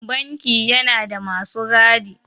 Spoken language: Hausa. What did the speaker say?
Banki yana da masu gadi.